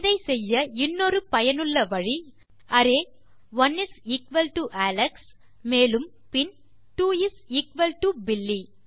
இதை செய்ய இன்னொரு பயனுள்ள வழி array one is equal to Alex மேலும் பின் two is equal to Billy